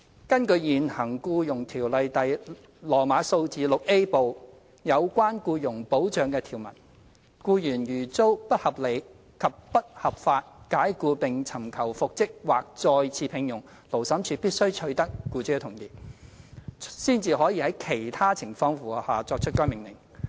根據現行《僱傭條例》第 VIA 部有關僱傭保障的條文，僱員如遭不合理及不合法解僱並尋求復職或再次聘用，勞審處必須取得僱主的同意，才可在其他情況符合下，作出該命令。